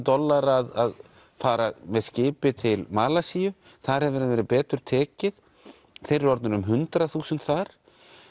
dollara að fara með skipi til Malasíu þar hefur þeim verið betur tekið þeir eru orðnir um hundrað þúsund þar